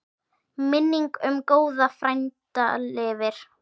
Minning um góðan frænda lifir.